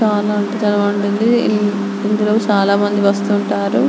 చాలా అంటే చాలా బాగుంటుంది ఇందులో చానా మంది వస్తుంటారు --